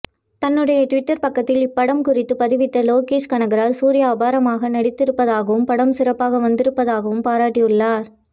தன்னுடைய ட்விட்டர் பக்கத்தில் இப்படம் குறித்து பதிவிட்ட லோகேஷ் கனகராஜ் சூர்யா அபாரமாக நடித்திருப்பதாகவும் படம் சிறப்பாக வந்திருப்பதாகவும் பாராட்டியுள்ளார